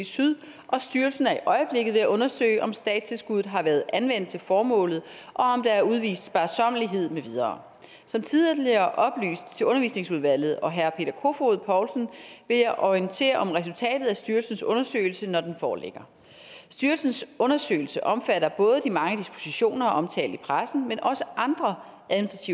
syd og styrelsen er i øjeblikket ved at undersøge om statstilskuddet har været anvendt til formålet og om der er udvist sparsommelighed med videre som tidligere oplyst til undervisningsudvalget og herre peter kofod poulsen vil jeg orientere om resultatet af styrelsens undersøgelse når den foreligger styrelsens undersøgelse omfatter både de mange dispositioner omtalt i pressen men også andre